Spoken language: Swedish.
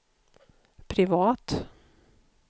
privat